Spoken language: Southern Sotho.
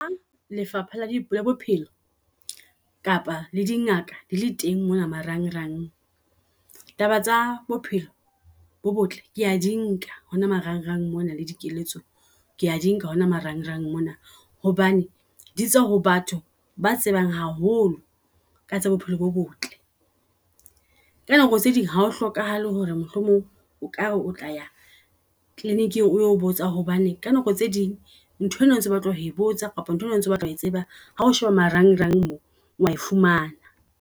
Lefapha la bophelo kapa le di ngaka di le teng mona marang rang. Taba tsa bophelo bo botle kea di nka hona marang rang mona le dikeletso, kea di nka hona marang rang mona. Hobane di tswa ho batho ba tsebang haholo ka tsa bophelo bo botle. Ka nako tse ding hao hlokahale hore mohlomong o kare o tla ya kliniking o yo botsa. Hobane ka nako tse ding ntho ena o ntso batla ho botsa kapa o ntso batla ho tseba hao sheba marangrang mo wa e fumana.